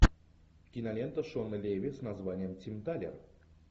кинолента шона леви с названием тим талер